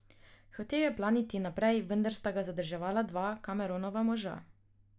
Hotel je planiti naprej, vendar sta ga zadrževala dva Cameronova moža.